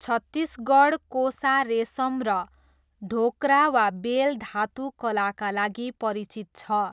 छत्तिसगढ 'कोसा रेसम' र ढोक्रा वा बेल धातु कलाका लागि परिचित छ।